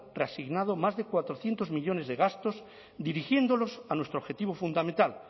reasignado más de cuatrocientos millónes de gastos dirigiéndolos a nuestro objetivo fundamental